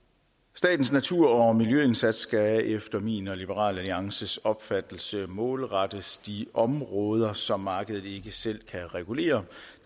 statens natur og miljøindsats skal efter min og liberal alliances opfattelse målrettes de områder som markedet ikke selv kan regulere